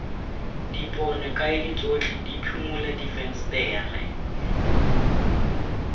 dipone kaedi tsotlhe diphimola difensetere